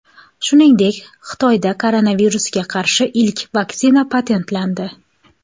Shuningdek, Xitoyda koronavirusga qarshi ilk vaksina patentlandi.